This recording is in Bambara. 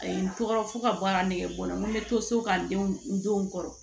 A ye n tɔgɔ fo ka baara negebɔ n na n bɛ to so ka n denw n denw kɔrɔ